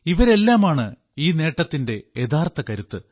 ഇവരെല്ലാമാണ് ഈ നേട്ടത്തിന്റെ യഥാർത്ഥ കരുത്ത്